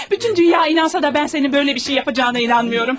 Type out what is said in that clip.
Bütün dünya inansa da, mən sənin belə bir şey edəcəyinə inanmıram.